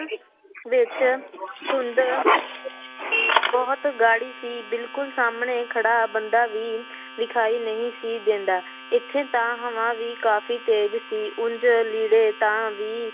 ਵਿੱਚ ਧੁੰਦ ਬਹੁਤ ਗਾੜੀ ਸੀ ਬਿਲਕੁਲ ਸਾਹਮਣੇ ਖੜਾ ਬੰਦਾ ਵੀ ਵਿਖਾਈ ਨਹੀਂ ਸੀ ਦਿੰਦਾ, ਇੱਥੇ ਤਾਂ ਹਵਾ ਵੀ ਕਾਫ਼ੀ ਤੇਜ਼ ਸੀ ਉਞ ਲੀੜੇ ਤਾਂ ਵੀ